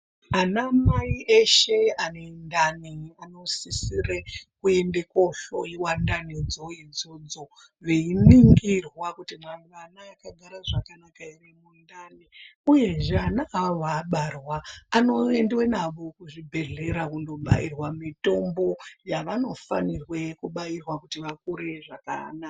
Anamai eshe anendani anosisire kuende kohloiwa ndanidzo idzodzo veiningirwa kuti ana akagara zvakanaka ere mundani uyezve ana avo abarwa anoendwe nawo kuzvibhedhlera kundobairwe mitombo yavanofanirwe kubairwa kuti vakure zvakanaka.